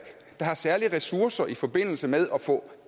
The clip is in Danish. der har særlige ressourcer i forbindelse med at få